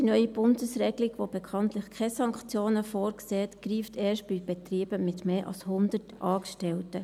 Die neue Bundesregelung, die bekanntlich keine Sanktionen vorsieht, greift erst bei Betrieben mit mehr als 100 Angestellten.